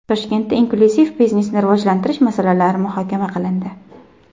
Toshkentda inklyuziv biznesni rivojlantirish masalalari muhokama qilindi.